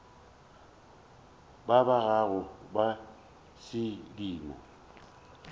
ba ba gago ba sedimo